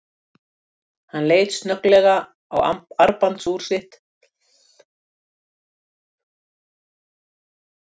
Hann leit snögglega á armbandsúr sitt og kipptist lítið eitt við í sætinu.